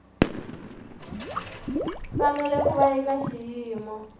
fanele ku va eka xiyimo